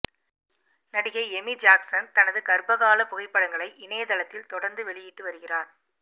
நடிகை Amy Jackson தனது கர்ப்பகால புகைப்படங்களை இணையதளத்தில் தொடர்ந்து வெளியிட்டு வருகிறார்